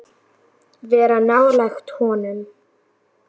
Vera nálægt honum?